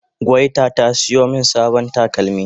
gwayta ta siyo min sabon takalmi